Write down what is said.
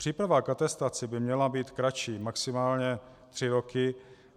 Příprava k atestaci by měla být kratší, maximálně tři roky.